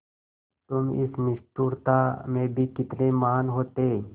तुम इस निष्ठुरता में भी कितने महान् होते